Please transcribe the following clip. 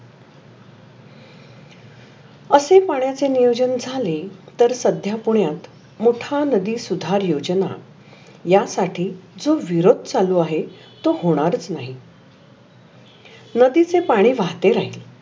असे पाण्याचे नियोजन झाले. तर सध्या पुण्यात मोठा नदी सुधार योजना या साठी जो विरोध चालु आहे. तो होनारच नाही. नदीचे पाणी वाहते राहील.